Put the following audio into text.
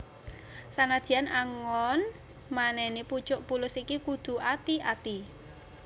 Sanadyan anggon manèné pucuk pulus iki kudu ati ati